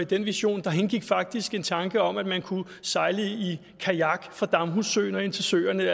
den vision indgik faktisk en tanke om at man kunne sejle i kajak fra damhussøen og ind til søerne